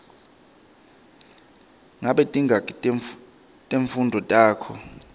ngabe tingaki timfundvo takho